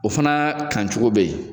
O fana kan cogo be yen